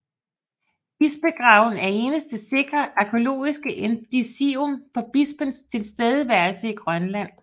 Bispegraven er eneste sikre arkæologiske indicium på bispens tilstedeværelse i Grønland